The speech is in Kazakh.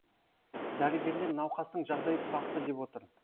дәрігерлер науқастың жағдайы тұрақты деп отыр